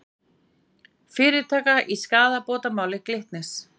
Fyrirtaka í skaðabótamáli Glitnis